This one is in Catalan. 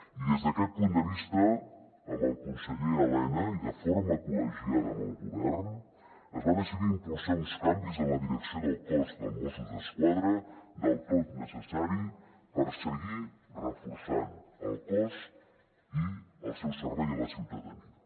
i des d’aquest punt de vista amb el conseller elena i de forma col·legiada amb el govern es va decidir impulsar uns canvis en la direcció del cos de mossos d’esquadra del tot necessaris per seguir reforçant el cos i el seu servei a la ciutadania